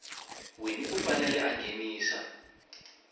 wini u fanele a nghenisa